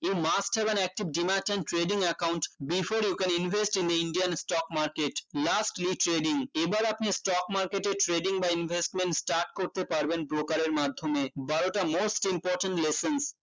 you must have an active dream art and trading account before you can invest in Indian stock market lastly trading এবার আপনি stock market এ trading বা investment start করতে পারবেন broker এর মাধ্যমে bio টা most important lession